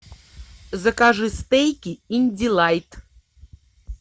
закажи стейки индилайт